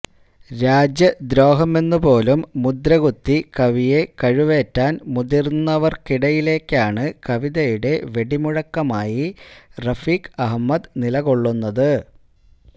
രാജ്യദ്രോഹമെന്നു പോലും മുദ്ര കുത്തി കവിയെ കഴുവേറ്റാന് മുതിരുന്നവര്ക്കിടയിലേക്കാണ് കവിതയുടെ വെടിമുഴക്കമായി റഫീക്ക് അഹമ്മദ് നിലകൊള്ളുന്നത്